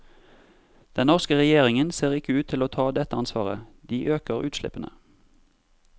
Den norske regjeringen ser ikke ut til å ta dette ansvaret, de øker utslippene.